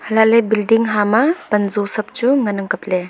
helah ley bilding pan jo sab chu ngan ang kapley.